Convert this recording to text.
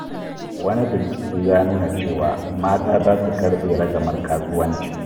Wani bincike ya nuna cewa 'mata za su karɓe ragamar kasuwanci '.